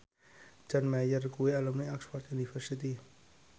John Mayer kuwi alumni Oxford university